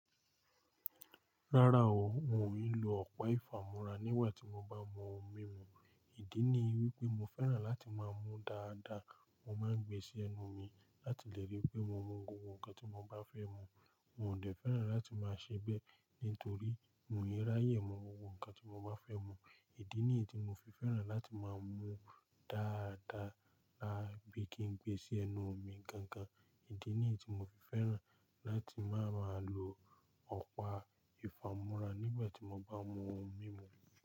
Rárá o, n ò ní lo ọ̀pá ìfàmúrà nígbà tí mo bá mú oun mímu. Ìdí ni wípé mo fẹ́ràn láti máa mú dáadáa. Mo máa ń gbe sí ẹnu mi láti lè rí pé mo mu gbogbo nǹkan tí mo bá fẹ́ mu. Mo de fẹ́ràn láti máa ṣe ẹgbẹ nítorí mo ni yẹrá yẹ̀ ẹ́ mu ohun kan tí mo máa fẹ́ mu. Ìdí ní èyí tí mo fi fẹ́ràn láti máa mú dáadáa lábẹ́ kí n gbe sí ẹnu mi gangan. Ìdí ní èyí tí mo fi fẹ́ràn láti máa má lo ọ̀pá ìfàmúrà nígbà tí mo bá mú ohun mímu.